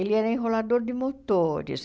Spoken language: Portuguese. Ele era enrolador de motores.